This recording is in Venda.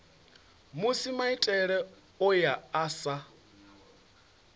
musi maitele ayo a sa